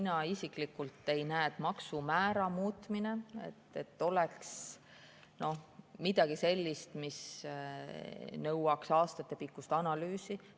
Mina isiklikult ei näe, et maksumäära muutmine oleks midagi sellist, mis nõuaks aastatepikkust analüüsi.